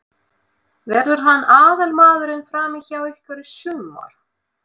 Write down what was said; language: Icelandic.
Verður hann aðalmaðurinn frammi hjá ykkur í sumar?